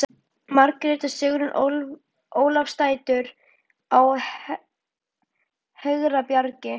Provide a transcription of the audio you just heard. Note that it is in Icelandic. Margrét og Sigrún Ólafsdætur á Hegrabjargi